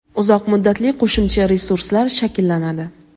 uzoq muddatli qo‘shimcha resurslar shakllanadi.